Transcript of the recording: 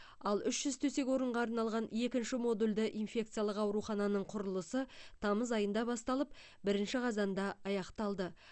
ал үш жүз төсек орынға арналған екінші модульді инфекциялық аурухананың құрылысы тамыз айында басталып бірінші қазанда аяқталды